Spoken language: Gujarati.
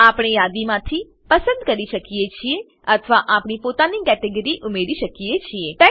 આપણે યાદીમાંથી પસંદ કરી શકીએ છીએ અથવા આપણી પોતાની કેટેગરી ઉમેરી શકીએ છીએ